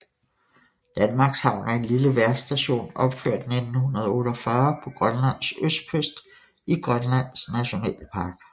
Danmarkshavn er en lille vejrstation opført 1948 på Grønlands østkyst i Grønlands Nationalpark